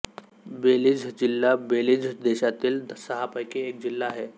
Belize जिल्हा Belize देशातील सहापैकी एक जिल्हा आहे